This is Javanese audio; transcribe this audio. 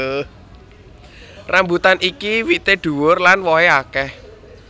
Rambutan iki wité dhuwur lan wohé akeh